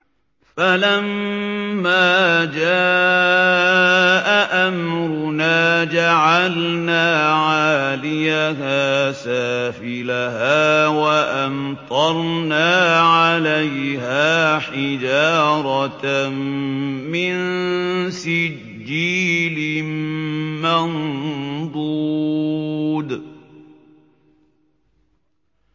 فَلَمَّا جَاءَ أَمْرُنَا جَعَلْنَا عَالِيَهَا سَافِلَهَا وَأَمْطَرْنَا عَلَيْهَا حِجَارَةً مِّن سِجِّيلٍ مَّنضُودٍ